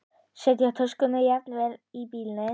Settu töskuna jafnvel í bílinn.